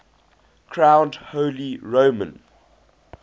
crowned holy roman